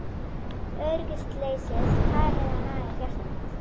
Öryggisleysið farið að naga hjarta mitt.